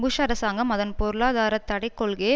push அரசாங்கம் அதன் பொருளாதாரத்தடைக் கொள்கையை